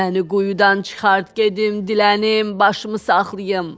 Məni quyudan çıxart gedim dilənim, başımı saxlayım.